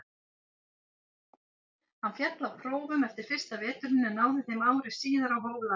Hann féll á prófum eftir fyrsta veturinn en náði þeim ári síðar og hóf laganám.